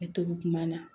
E to kuma na